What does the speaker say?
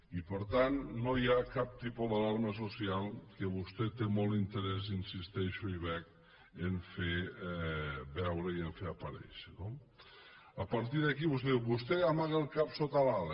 i per tant no hi ha cap tipus d’alarma social que vostè té molt interès hi insisteixo i veig a fer veure i a fer aparèixer no a partir d’aquí vostè diu vostè amaga el cap sota l’ala